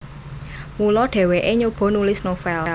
Mula dhèwèké nyoba nulis novel